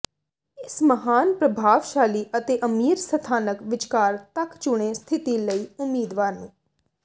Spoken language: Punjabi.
ਇਸ ਮਹਾਨ ਪ੍ਰਭਾਵਸ਼ਾਲੀ ਅਤੇ ਅਮੀਰ ਸਥਾਨਕ ਵਿਚਕਾਰ ਤੱਕ ਚੁਣੇ ਸਥਿਤੀ ਲਈ ਉਮੀਦਵਾਰ ਨੂੰ